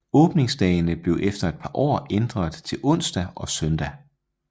Åbningsdagene blev efter et par år ændret til onsdag og søndag